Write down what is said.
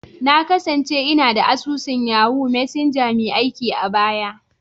Na kasance ina da asusun Yahoo Messenger mai aiki a baya.